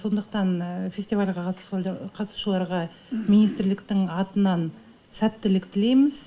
сондықтан фестивальға қатысушыларға министрліктің атынан сәттілік тілейміз